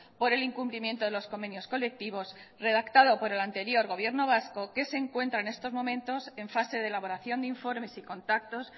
por el incumplimiento de los convenios colectivos redactado por el anterior gobierno vasco que se encuentra en estos momentos en fase de elaboración de informes y contactos